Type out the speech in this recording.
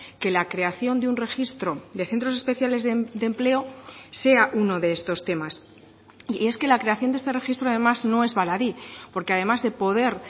que la creación de un registro de centros especiales de empleo sea uno de estos temas y es que la creación de este registro además no es baladí porque además de poder